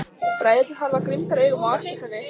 Bræðurnir horfa girndaraugum á eftir henni.